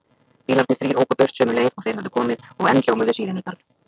Bílarnir þrír óku burt sömu leið og þeir höfðu komið og enn hljómuðu sírenurnar.